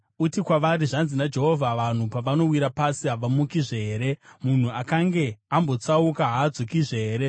“Uti kwavari, ‘Zvanzi naJehovha: “ ‘Vanhu pavanowira pasi, havamukizve here? Munhu akange ambotsauka, haadzokizve here?